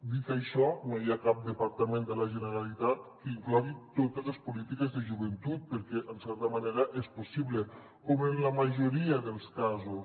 dit això no hi ha cap departament de la generalitat que inclogui totes les políti·ques de joventut perquè en certa manera no és possible com en la majoria dels ca·sos